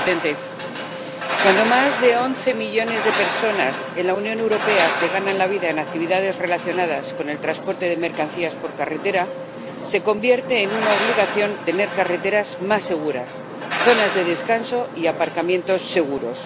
Señor presidente, cuando más de once millones de personas en la Unión Europea se ganan la vida en actividades relacionadas con el transporte de mercancías por carretera, se convierte en una obligación tener carreteras más seguras, zonas de descanso y aparcamientos seguros.